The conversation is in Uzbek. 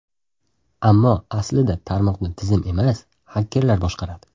Ammo aslida tarmoqni tizim emas, xakerlar boshqaradi.